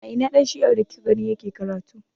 A ina ɗan shi'ar da kika gane yake karatu?